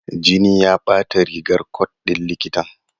Jini ya bata rigar cot ɗin likitan.